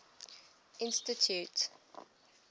institute